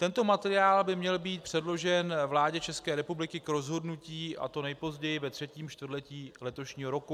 Tento materiál by měl být předložen vládě České republiky k rozhodnutí, a to nejpozději ve třetím čtvrtletí letošního roku.